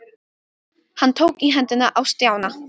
Hann tók í hendina á Stjána.